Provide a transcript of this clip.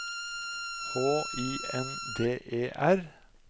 H I N D E R